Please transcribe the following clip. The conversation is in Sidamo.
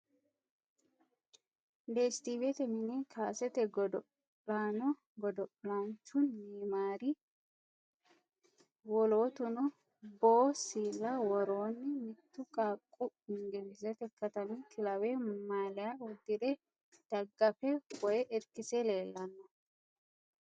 Deestiiwete mine kaasete godo'laano godo'laanchu neyimaari woloottuno boo siilla worroonni. Mittu qaaqqu ingilizete katami kilaweha maaliya uddire daggafe woyi irkise leellanno.